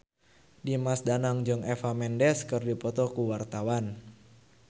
Dimas Danang jeung Eva Mendes keur dipoto ku wartawan